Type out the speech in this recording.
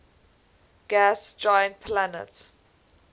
gas giant planets